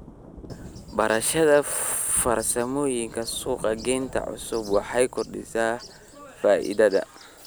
Barashada farsamooyinka suuq-geynta cusub waxay kordhisaa faa'iidada.